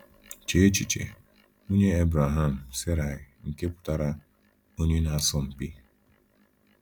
Chee echiche, nwunye Ebraham, Saraị, nke pụtara “onye na -asọ mpi.”